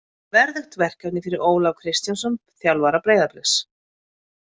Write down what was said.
Verðugt verkefni fyrir Ólaf Kristjánsson, þjálfara Breiðabliks.